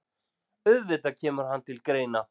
Auðvitað kemur hann til greina.